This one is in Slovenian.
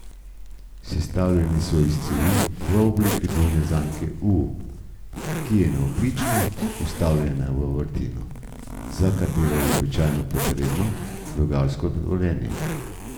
Sestavljeni so iz cevi v obliki dvojne zanke U, ki je navpično vstavljena v vrtino, za katero je običajno potrebno rudarsko dovoljenje.